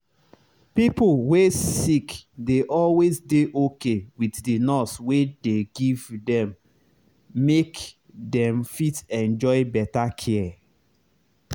pipo wey sick dey always dey okay with the nurse wey dey give them make them fit enjoy better care.